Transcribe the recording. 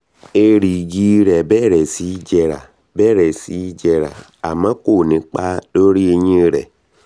èrìgì rẹ̀ bẹ̀rẹ̀ sí jẹrà bẹ̀rẹ̀ sí jẹrà àmọ́ ko ní ipa lórí eyín rẹ̀